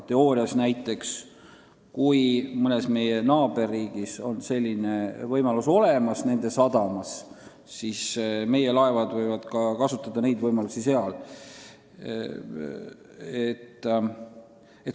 Teoorias on nii, et kui mõne meie naaberriigi sadamas on selline võimalus olemas, siis võivad meie laevad seda kasutada.